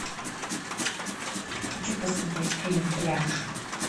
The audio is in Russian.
хочу посмотреть фильм пляж